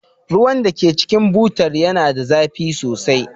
Ruwan da ke cikin butar yana da zafi sosai.